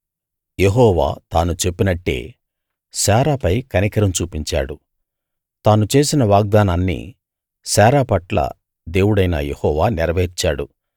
యెహోవా తాను చెప్పినట్టే శారా పై కనికరం చూపించాడు తాను చేసిన వాగ్దానాన్ని శారా పట్ల దేవుడైన యెహోవా నెరవేర్చాడు